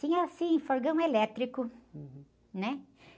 Tinha, assim, fogão elétrico, né?